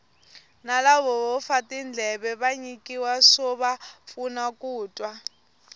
na lavo fa tindleve va nyikiwa swova pfuna ku twa